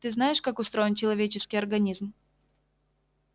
ты знаешь как устроен человеческий организм